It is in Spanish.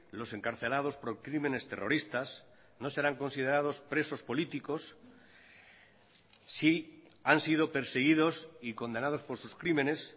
los encarcelados por crímenes terroristas no serán considerados presos políticos si han sido perseguidos y condenados por sus crímenes